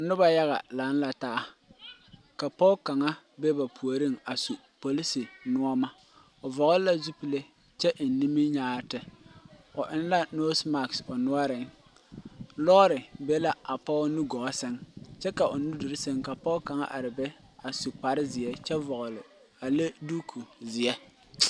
Nuba yaga lang la taa ka pɔg kanga be ba poɔring a su polici noma ɔ vɔgli la zupile kye en niminyaarete ɔ eng la nose mask ɔ noɔring loɔri be la a poɔ nu gɔɔ sen kye ka ɔ nu duri sen ka poɔ kang arẽ be a su kpare zie kye vɔgli a le duuku zie.